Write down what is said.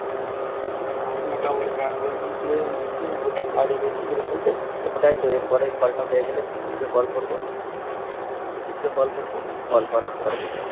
মিঠুন কোথায় কাজে গেছিল এসেছে ওটাই তো. এরপরে কলটা হয়ে গেলে মিঠুন কে দিয়ে কল করবো. অরিজিৎকে কল করবো. কল করার পরে দেখব